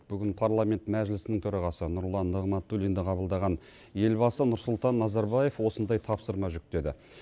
бүгін парламент мәжлісінің төрағасы нұрлан нығматуллинді қабылдаған елбасы нұрсұлтан назарбаев осындай тапсырма жүктеді